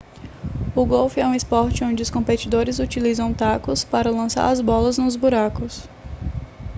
o golfe é um esporte onde os competidores utilizam tacos para lançar as bolas nos buracos